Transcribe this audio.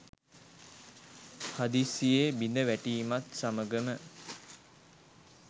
හදිසියේ බිඳ වැටීමත් සමගම